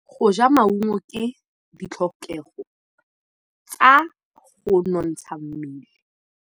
Go ja maungo ke ditlhokegô tsa go nontsha mmele.